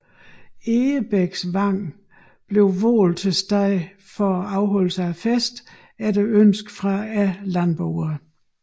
Egebæksvang blev valgt til sted for afholdelse af festen efter ønske fra landboerne